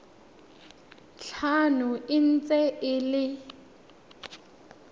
tlhano e ntse e le